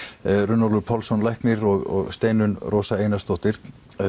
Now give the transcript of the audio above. Runólfur Pálsson læknir og Steinunn Rósa Einarsdóttir